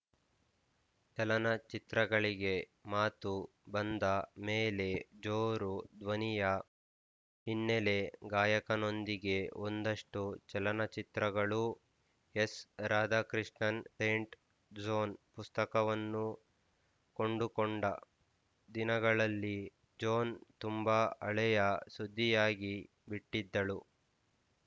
ಚಲನಚಿತ್ರಗಳಿಗೆ ಮಾತು ಬಂದ ಮೇಲೆ ಜೋರು ಧ್ವನಿಯ ಹಿನ್ನೆಲೆ ಗಾಯಕ ನೊಂದಿಗೆ ಒಂದಷ್ಟು ಚಲನಚಿತ್ರಗಳೂ ಎಸ್ರಾಧಾಕೃಷ್ಣನ್ ಸೇಂಟ್ ಜೋನ್ ಪುಸ್ತಕವನ್ನು ಕೊಂಡುಕೊಂಡ ದಿನಗಳಲ್ಲಿ ಜೋನ್ ತುಂಬ ಹಳೆಯ ಸುದ್ದಿಯಾಗಿ ಬಿಟ್ಟಿದ್ದಳು